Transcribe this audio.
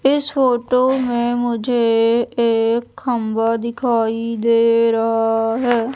इस फोटो में मुझे एक खंभा दिखाई दे रहा है।